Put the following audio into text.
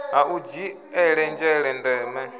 ha u dzhiele nzhele ndeme